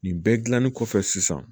Nin bɛɛ gilanni kɔfɛ sisan